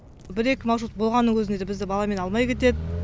бір екі маршрут болғанның өзінде де бізді баламен алмай кетеді